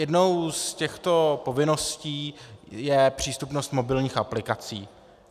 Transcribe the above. Jednou z těchto povinností je přístupnost mobilních aplikací.